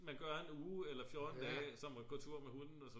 man gør en uge eller 14 dage som at gå tur med hunden og så videre